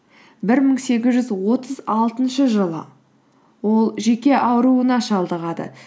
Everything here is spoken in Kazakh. бір мың сегіз жүз отыз алтыншы жылы ол жүйке ауруына шалдығады